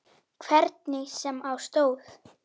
Hvernig sem á stóð.